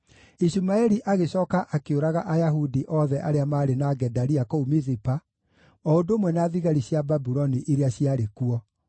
Ishumaeli agĩcooka akĩũraga Ayahudi othe arĩa maarĩ na Gedalia kũu Mizipa, o ũndũ ũmwe na thigari cia Babuloni iria ciarĩ kuo.